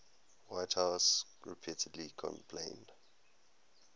whitehouse repeatedly complained